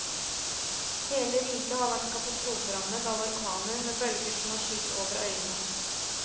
Hele riket har vært katastroferammet av orkaner med bølger som har skylt over øyene.